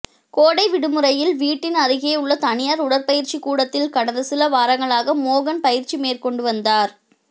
கோடை விடுமுறையில் வீட்டின் அருகேயுள்ள தனியார் உடற்பயிற்சி கூடத்தில் கடந்த சில வாரங்களாக மோகன் பயிற்சி மேற்கொண்டுவந்தார்